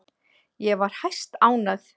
Ég var hæstánægð.